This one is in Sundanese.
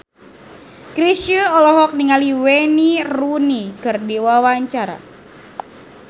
Chrisye olohok ningali Wayne Rooney keur diwawancara